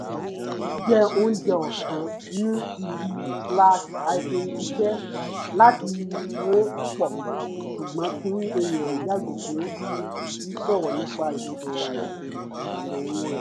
jẹ oúnjẹ ọ̀sán ní ibi slash hyphen iṣẹ́ láti ré pọ̀ ṣùgbọ́n kí èèyàn yààgò fún sí sọ̀rọ̀ nípa ìsòrò ìṣòro rẹ̀